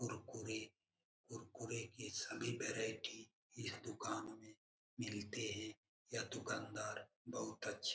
कुरकुरे कुरकुरे के सभी वैरायटी इस दुकान में मिलते है यह दुकानदार बहुत अच्छे --